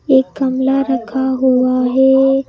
एक कमला रखा हुआ है।